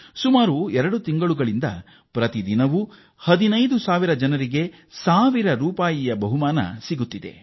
ಕಳೆದ ಎರಡು ತಿಂಗಳುಗಳಿಂದ 15 ಸಾವಿರ ಜನರು ಪ್ರತಿ ನಿತ್ಯ 1 ಸಾವಿರ ರೂಪಾಯಿ ಬಹುಮಾನ ಗೆಲ್ಲುತ್ತಿದ್ದಾರೆ